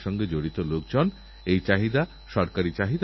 নীতি আয়োগের মাধ্যমে আতাল ইনোভেশন মিশন কে উৎসাহ দেওয়া হচ্ছে